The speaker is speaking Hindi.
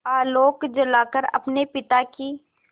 आलोक जलाकर अपने पिता की